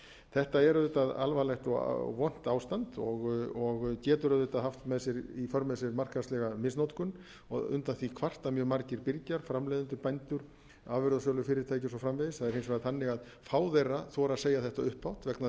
þetta er auðvitað alvarlegt og vont ástand og getur auðvitað haft í för með sér markaðslega misnotkun undan því kvarta mjög margir birgjar framleiðendur afurðasölufyrirtæki og svo framvegis það er hins vegar þannig að fá þeirra þora að segja þetta upphátt vegna þess